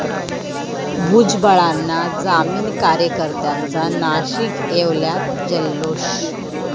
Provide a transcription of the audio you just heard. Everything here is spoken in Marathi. भुजबळांना जामीन, कार्यकर्त्यांचा नाशिक, येवल्यात जल्लोष!